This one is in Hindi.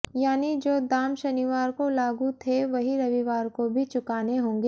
यानी जो दाम शनिवार को लागू थे वहीं रविवार को भी चुकाने होंगे